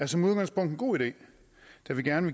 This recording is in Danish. er som udgangspunkt en god idé da vi gerne